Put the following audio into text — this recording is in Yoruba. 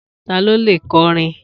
Ta ló leè kọrin?